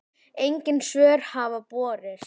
Engin svör hafa borist.